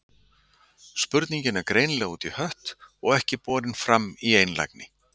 Spurning er greinilega út í hött og ekki borin fram í einlægni.